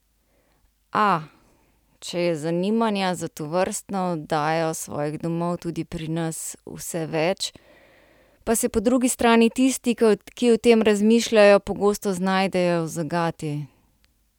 A, če je zanimanja za tovrstno oddajo svojih domov tudi pri nas vse več, pa se po drugi strani tisti, ki o tem razmišljajo, pogosto znajdejo v zagati.